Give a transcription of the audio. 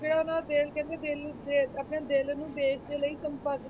ਤੇ ਉਹਨਾਂ ਦਾ ਦਿਲ ਕਹਿੰਦੇ ਦਿਲ ਨੂੰ ਦੇਸ ਆਪਣੇ ਦਿਲ ਨੂੰ ਦੇਸ ਦੇ ਲਈ